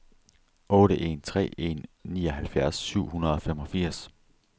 otte en tre en nioghalvfjerds syv hundrede og femogfirs